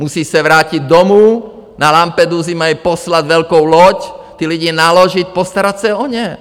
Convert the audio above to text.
Musí se vrátit domů, na Lampedusu mají poslat velkou loď, ty lidi naložit, postarat se o ně.